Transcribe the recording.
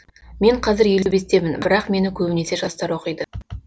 мен қазір елу бестемін бірақ мені көбінесе жастар оқиды